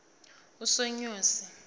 usonyosi